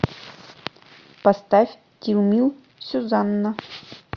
поставь тилмил сюзанна